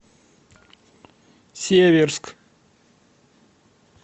северск